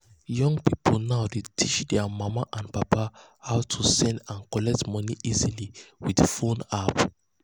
young people now dey teach their mama and papa how to send and collect money easy with phone app.